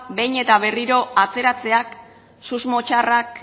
behin eta berriro ateratzeak susmo txarrak